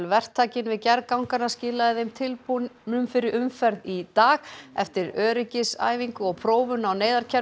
verktakinn við gerð ganganna skilaði þeim tilbúnum fyrir umferð í dag eftir öryggisæfingu og prófun á